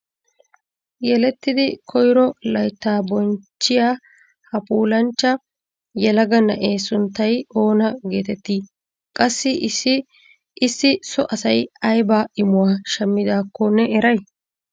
Yelettidi koyro laytta bonchchiya ha puulanchcha yelaga na'ee sunttay oonaa hetetti? Qassi issi so asay aybba imuwa shammidakko me eray?